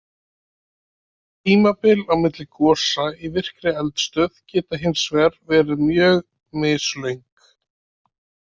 Tímabil á milli gosa í virkri eldstöð geta hins vegar verið mjög mislöng.